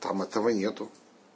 там этого нет